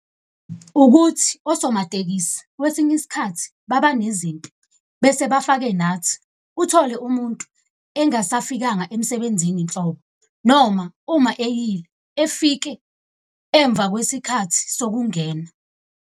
Ukuthi osomatekisi kwesinye isikhathi baba nezimpi bese bafake nathi. Uthole umuntu engasafikanga emsebenzini nhlobo. Noma uma eyile efike emva kwesikhathi sokungena.